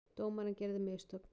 Dómarinn gerði mistök.